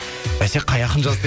бәсе қай ақын жазды деп